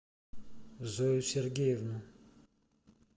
зою сергеевну